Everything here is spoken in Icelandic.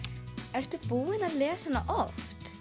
ertu búin að lesa hana oft